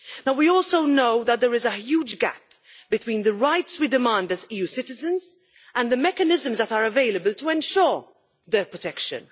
We also know that there is a huge gap between the rights that we demand as EU citizens and the mechanisms that are available to ensure their protection.